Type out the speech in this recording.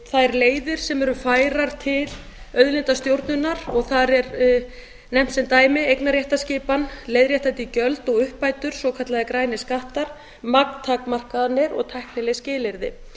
þær leiðir sem eru færar til auðlindastjórnunar og þar er nefnt sem dæmi eignarréttarskipan leiðréttandi gjöld og uppbætur svokallaðir grænir skattar magntakmarkanir og tæknileg skilyrði